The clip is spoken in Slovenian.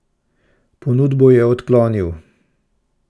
Ponudbo je odklonil.